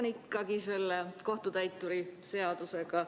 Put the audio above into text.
Ma jätkan selle kohtutäituri seadusega.